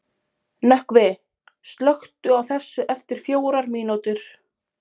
Nökkvi, slökktu á þessu eftir fjórar mínútur.